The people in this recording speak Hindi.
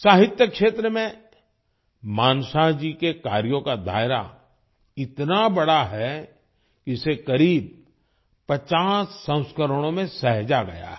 साहित्य के क्षेत्र में मानशाह जी के कार्यों का दायरा इतना बड़ा है कि इसे करीब 50 संस्करणों में सहेजा गया है